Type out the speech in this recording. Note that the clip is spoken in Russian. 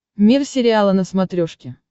мир сериала на смотрешке